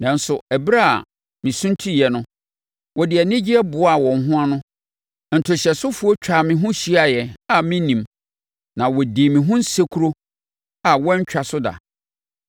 Nanso, ɛberɛ a mesuntiiɛ no, wɔde anigyeɛ boaa wɔn ho ano; ntohyɛsofoɔ twaa me ho hyiaaɛ a mennim na wɔdii me ho nsekuro a wɔantwa so da.